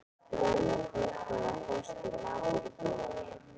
Brauð og kornvörur fást í matvörubúðinni.